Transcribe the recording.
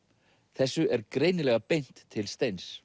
þessu er greinilega beint til Steins